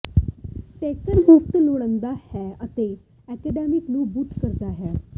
taker ਮੁਫਤ ਲੜਦਾ ਹੈ ਅਤੇ ਐਂਡਰਸਨ ਨੂੰ ਬੂਟ ਕਰਦਾ ਹੈ